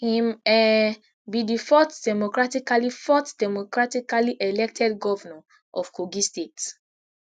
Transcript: im um be di fourth democratically fourth democratically elected govnor of kogi state